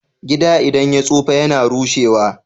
Gida idan ya tsufa yAna rushe wa